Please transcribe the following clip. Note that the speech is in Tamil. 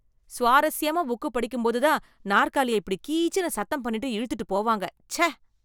சுவாரஸ்யமா புக் படிக்கும்போது தான் நாற்காலிய இப்படி கீச்சுனு சத்தம் பண்ணிட்டு இழுத்துட்டு போவாங்க, ச்சே.